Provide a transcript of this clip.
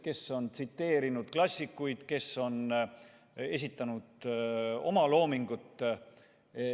Kes on tsiteerinud klassikuid, kes on esitanud oma loomingut.